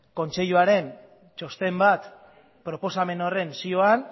kontseiluaren txosten bat proposamen horren zioan